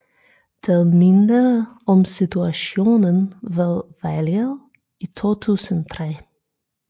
Det mindede om situationen ved valget i 2003